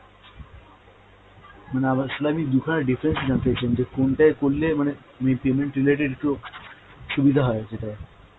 মানে আবার, আসলে আমি দু'খানা details ই জানতে চাইছিলাম যে কোনটায় করলে মানে আমি payment related একটু সুবিধা হয় যেটা।